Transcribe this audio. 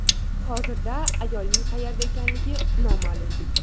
Hozirda ayolning qayerda ekanligi noma’lum.